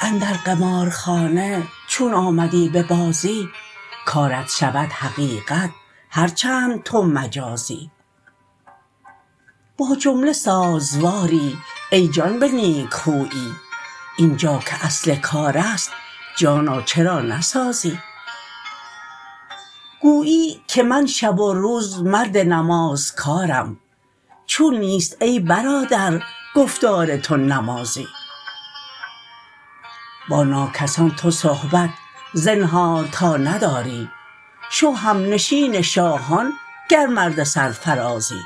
اندر قمارخانه چون آمدی به بازی کارت شود حقیقت هر چند تو مجازی با جمله سازواری ای جان به نیک خویی این جا که اصل کار است جانا چرا نسازی گویی که من شب و روز مرد نمازکارم چون نیست ای برادر گفتار تو نمازی با ناکسان تو صحبت زنهار تا نداری شو همنشین شاهان گر مرد سرفرازی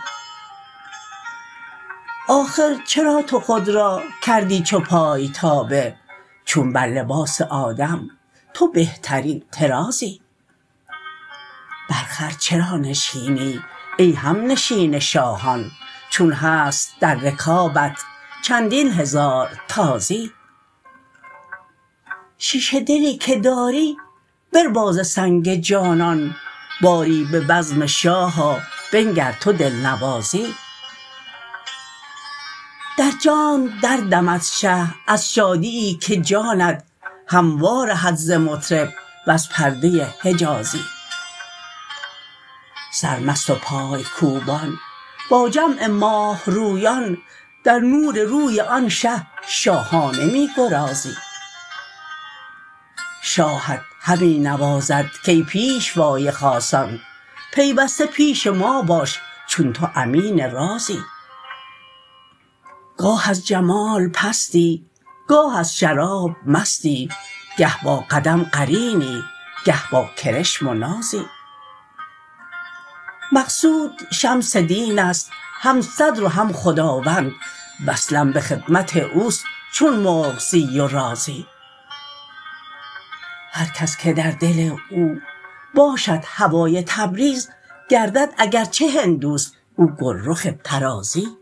آخر چرا تو خود را کردی چو پای تابه چون بر لباس آدم تو بهترین طرازی بر خر چرا نشینی ای همنشین شاهان چون هست در رکابت چندین هزار تازی شیشه دلی که داری بربا ز سنگ جانان باری به بزم شاه آ بنگر تو دلنوازی در جانت دردمد شه از شادیی که جانت هم وارهد ز مطرب وز پرده حجازی سرمست و پای کوبان با جمع ماه رویان در نور روی آن شه شاهانه می گرازی شاهت همی نوازد کای پیشوای خاصان پیوسته پیش ما باش چون تو امین رازی گاه از جمال پستی گاه از شراب مستی گه با قدم قرینی گه با کرشم و نازی مقصود شمس دین است هم صدر و هم خداوند وصلم به خدمت او است چون مرغزی و رازی هر کس که در دل او باشد هوای تبریز گردد اگر چه هندو است او گلرخ طرازی